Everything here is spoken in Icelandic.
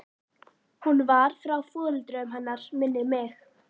Hún var frá foreldrum hennar minnir mig.